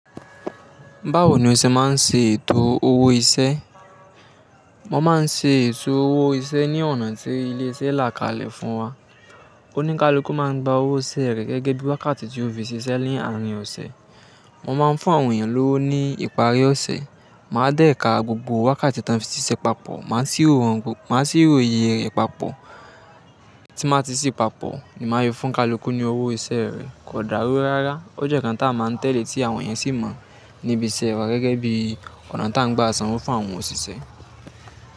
Báwo ni o ṣe máa ń ṣe ètò owó iṣẹ́? Mo máa ń ṣe ètò owó iṣẹ́ ní ọ̀nà tí ilé iṣẹ́ la kalẹ̀ fún wa. Oníkálukú máa ń gba owó iṣẹ́ rẹ̀ gẹ́gẹ́ bí wákàtí tí ó fi ṣiṣẹ́ ni àárín ọ̀sẹ̀. Mo máa ń fún àwọn èèyàn lówó ní ìparí ọ̀sẹ̀. Máa dẹ̀ ka gbogbo wákàtí tí wọ́n fi ṣiṣẹ́ papọ̀, máa sì ro iye rẹ̀ papọ̀. Tí màá ti sì papọ̀ ni màá ṣe fún kalukú ní owó iṣẹ́ rẹ̀. Kò dàrú rárá ó jẹ́ ǹkan tá a máa ń tẹ̀lé tí àwọn èèyàn sì mọ̀ níbi iṣẹ́ wa gẹ́gẹ́ bí ọ̀nà tí à ń gba sanwó fún àwọn òṣìṣẹ́